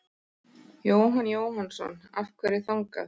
Jóhann Jóhannsson: Af hverju þangað?